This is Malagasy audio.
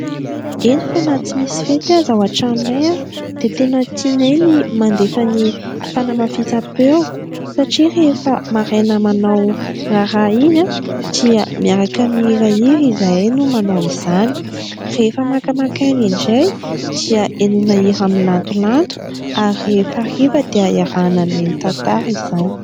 Eny fa na tsy misy fety aza ao an-tranonay dia tena tianay ny mandefa ny fanamafisam-peo satria : rehefa maraina manao raharaha iny dia miaraka mihirahira izahay no manao izany ; rehefa makamaka aina indray dia ihainoana hira milantolanto ary rehefa hariva dia iarahana mihaino tantara izany.